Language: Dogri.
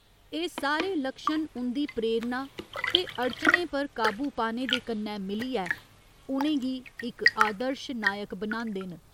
एह् सारे लक्षण उं'दी प्रेरणा ते अड़चने पर काबू पाने दे कन्नै मिलियै उ'नें गी इक आदर्श नायक बनांदे न।